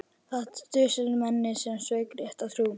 Það dusilmenni sem sveik rétta trú!